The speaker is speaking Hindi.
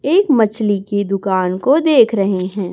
एक मछली की दुकान को देख रहे हैं।